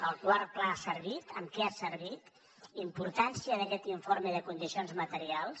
el quart pla ha servit en què ha servit importància d’aquest informe de condicions materials